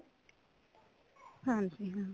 ਹਾਂਜੀ ਹਾਂ